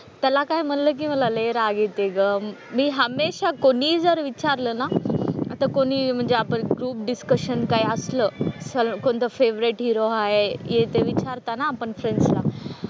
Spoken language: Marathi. त्याला काही म्हणलं की मला लय राग येते ग. मी हमेशा कोणीही जर विचारलं ना, आता कोणीही म्हणजे आपण ग्रुप डिस्कशन काय असलं सल कोणतं फेव्हरेट हिरो आहे हे ते विचारतात ना आपण फ्रेंड्स ना.